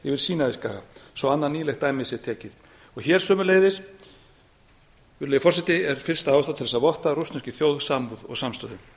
farþegaþotunni yfir sínaískaga svo annað nýlegt dæmi sé tekið og hér sömuleiðis er fyllsta ástæða til að votta rússneskri þjóð samúð og samstöðu